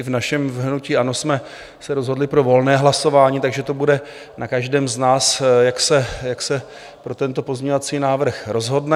I v našem hnutí ANO jsme se rozhodli pro volné hlasování, takže to bude na každém z nás, jak se pro tento pozměňovací návrh rozhodne.